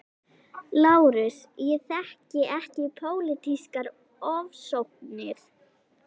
LÁRUS: Ég þekki ekki pólitískar ofsóknir.